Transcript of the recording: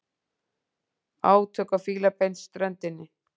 Átök á Fílabeinsströndinni